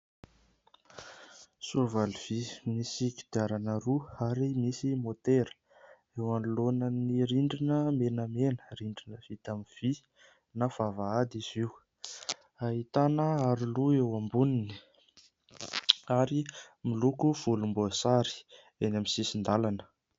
Soavaly vy misy kodiarana roa ary misy môtera, eo anoloanan'ny rindrina menamena, rindrina vita amin'ny vy na vavahady izy io. Ahitana aro loha eo amboniny ary miloko volomboasary. Eny amin'ny sisin-dalana.